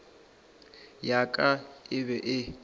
ya ka e be e